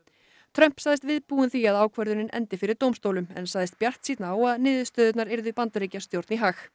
Trump sagðist viðbúinn því að ákvörðunin endi fyrir dómstólum en sagðist bjartsýnn á að niðurstöðurnar yrðu Bandaríkjastjórn í hag